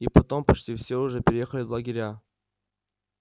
и потом почти всё уже переехали в лагеря